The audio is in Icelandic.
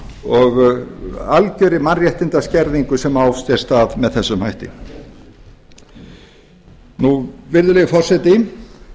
og algjörri mannréttindaskerðingu sem á sér stað með þessum hætti virðulegi forseti